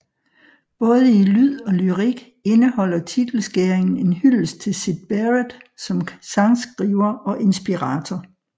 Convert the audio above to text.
Både i lyd og lyrik indholder titelskæringen en hyldest til Syd Barrett som sangskriver og inspirator